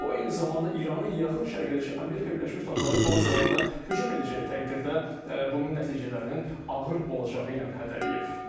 O, eyni zamanda İranı yaxın şərqdəki Amerika Birləşmiş Ştatları bazalarına hücum edəcəyi təqdirdə bunun nəticələrinin ağır olacağı ilə hədələyib.